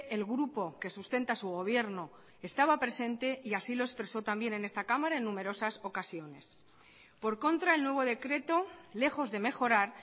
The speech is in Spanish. el grupo que sustenta su gobierno estaba presente y así lo expresó también en esta cámara en numerosas ocasiones por contra el nuevo decreto lejos de mejorar